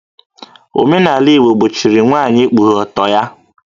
Omenala Igbo gbochiri nwaanyị ikpughe ọtọ ya